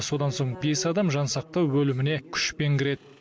содан соң бес адам жансақтау бөліміне күшпен кіреді